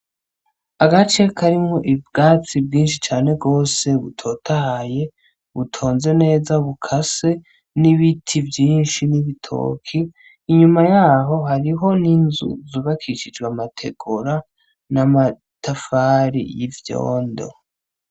Agace karimwo ubwatsi bwinshi cane gose butotahaye, butonze neza bukase n'ibiti vyinshi n'ibitoki. Inyuma y'aho hariho n'inzu zubakishijwe amategura n'amatafari y'ivyondo.